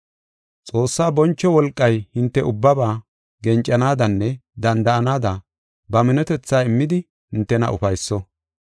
Xoossaa boncho wolqay hinte ubbaba gencanaadanne danda7anaada ba minotethaa immidi hintena ufayso.